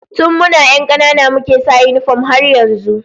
Tun muna 'yan kanana muke sa yinifom har yanzu